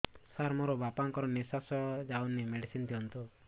ସାର ମୋର ବାପା ଙ୍କର ନିଃଶ୍ବାସ ଯାଉନି ମେଡିସିନ ଦିଅନ୍ତୁ